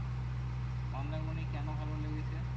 মন্দারমণি কেন ভালো লেগেছে?